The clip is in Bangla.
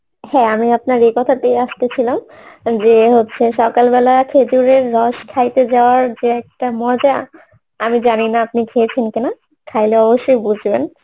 হ্যাঁ আমি আপনার এ কথাতে আসতেছিলাম যে হচ্ছে সকালবেলায় খেজুরের রস খাইতে যাওয়ার যে একটা মজা আমি জানিনা আপনি খেয়েছেন কি না খাইলে অবশ্যই বুঝবেন